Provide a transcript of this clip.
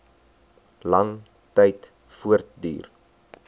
lang tyd voortduur